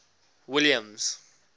williams